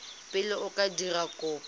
pele o ka dira kopo